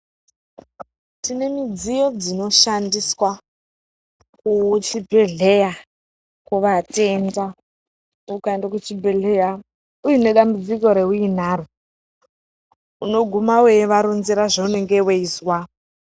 Tinemidziyo midziyo dzinoshandiswa muchibhedhlera kuvatenda. Ukaenda kuchibhedhlera, uinedambudziko unoguma weivaronzera zveunenge weizwa.